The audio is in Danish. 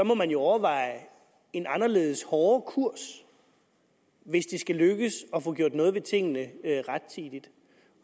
må man jo overveje en anderledes hård kurs hvis det skal lykkes at få gjort noget ved tingene rettidigt